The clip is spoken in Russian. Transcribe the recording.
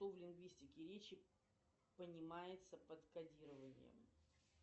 что в лингвистике речи понимается под кодированием